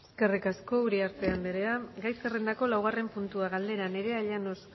eskerrik asko uriarte andrea gai zerrendako laugarren puntua galdera nerea llanos